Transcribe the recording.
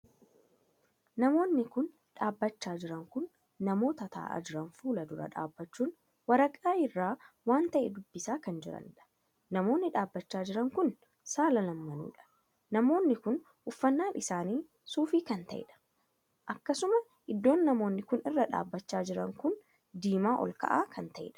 Namoonni kun dhaabbachaa jiran kun namoota taa'aa jiran fuula dura dhaabbachuun waraqaa irraa waan tahee dubbisaa kan jiraniidha. namoonni dhaabbachaa jiran kun saala lamanuudha. namoonni kun uffannaan isaanii suufii kan taheedha. akkasuma iddoo namoonni kun irra dhaabbachaa jiran kun diimaa olkaa'aa kan taheedha.